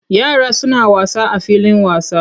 Yara suna wasa a filin wasa.